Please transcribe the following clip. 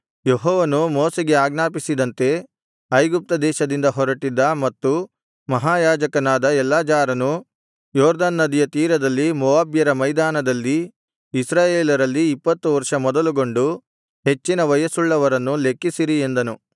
ಯೆಹೋವನು ಮೋಶೆಗೆ ಅಜ್ಞಾಪಿಸಿದಂತೆ ಐಗುಪ್ತ ದೇಶದಿಂದ ಹೊರಟ್ಟಿದ್ದ ಮತ್ತು ಮಹಾಯಾಜಕನಾದ ಎಲ್ಲಾಜಾರನೂ ಯೊರ್ದನ್ ನದಿಯ ತೀರದಲ್ಲಿ ಮೋವಾಬ್ಯರ ಮೈದಾನದಲ್ಲಿ ಇಸ್ರಾಯೇಲರಲ್ಲಿ ಇಪ್ಪತ್ತು ವರ್ಷ ಮೊದಲುಗೊಂಡು ಹೆಚ್ಚಿನ ವಯಸ್ಸುಳ್ಳವರನ್ನು ಲೆಕ್ಕಿಸಿರಿ ಎಂದನು